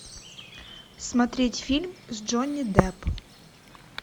смотреть фильм с джонни деппом